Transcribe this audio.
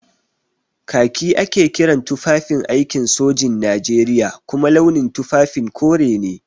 Kaki ake kiran tufafin aikin sojin Najeriya kuma launin tufafin kore ne.